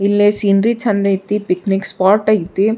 ಇಲ್ಲಿ ಸೀನ್ರಿ ಚಂದೈತಿ picnic spot ಐತಿ.